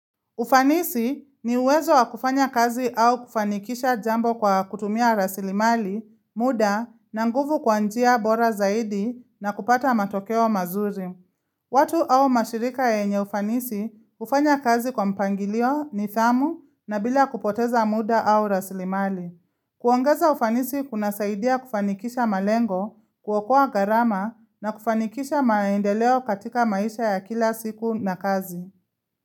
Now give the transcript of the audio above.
Ufanisi ni uwezo wa kufanya kazi au kufanikisha jambo kwa kutumia rasilimali, muda, na nguvu kwa njia bora zaidi na kupata matokeo mazuri. Watu au mashirika yenye ufanisi ufanya kazi kwa mpangilio nidhamu na bila kupoteza muda au rasilimali. Kuongeza ufanisi kunasaidia kufanikisha malengo, kuokoa gharama na kufanikisha maendeleo katika maisha ya kila siku na kazi.